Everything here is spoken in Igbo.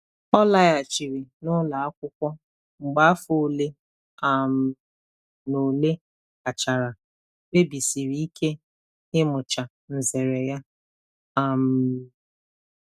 Ọ laghachiri n'ụlọ akwụkwọ mgbe afọ ole um na ole gachara, kpebisiri ike ịmụcha nzere ya. um